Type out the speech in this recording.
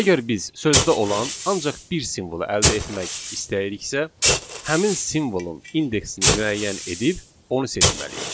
Əgər biz sözdə olan ancaq bir simvolu əldə etmək istəyiriksə, həmin simvolun indeksini müəyyən edib onu seçməliyik.